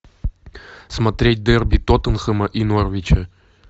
смотреть дерби тоттенхэма и норвича